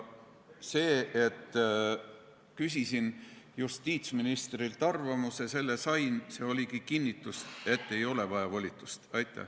Ma küsisin justiitsministrilt arvamust ja selle ma sain ning see oligi kinnitus, et volitust ei ole vaja.